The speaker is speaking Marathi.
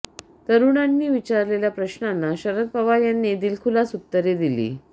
तरुणांनी विचारलेल्या प्रश्नांना शरद पवार यांनी दिलखुलास उत्तरे दिली